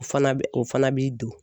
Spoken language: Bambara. O fana bɛ o fana bi don